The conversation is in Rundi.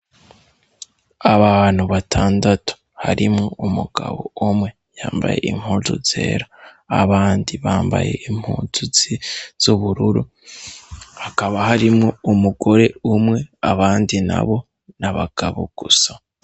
Abantu batandatu harimwo umugabo umwe yambaye impuzu zera, abandi bambaye impuzu z'ubururu, hakaba harimwo umugore umwe, abandi nabo ni abagabo gusa.